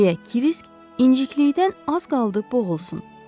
deyə Kirisk inciklikdən az qaldı boğulsun.